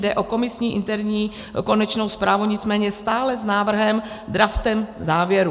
Jde o komisní interní konečnou zprávu, nicméně stále s návrhem, draftem závěru.